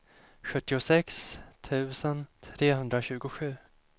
sjuttiosex tusen trehundratjugosju